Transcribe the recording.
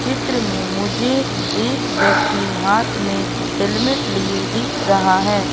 चित्र में मुझे एक व्यक्ति हाथ में हेलमेट लिए दिख रहा है।